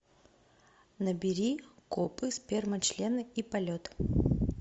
набери копы сперма члены и полет